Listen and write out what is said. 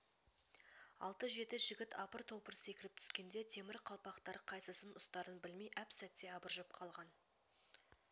алты-жеті жігіт апыр-топыр секіріп түскенде темір қалпақтар қайсысын ұстарын білмей әп-сәтте абыржып қалған